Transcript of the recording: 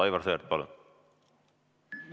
Aivar Sõerd, palun!